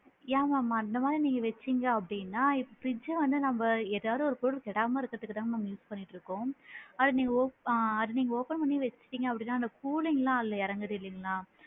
யா mam அந்த மாதிரி நீங்க வச்சிங்க அப்படின்னா fridge வந்து நம்ப ஏதாது ஒரு பொருள் கெடாம இருக்குறதுக்கு தான் mam use பண்ணிட்டு இருக்கோம் அது நீங்க ஓ ஆ அது நீங்க open பண்ணி வச்சிட்டிங்க அப்படின்னா அந்த cooling லா அதுல இறங்குது இல்லைங்களா?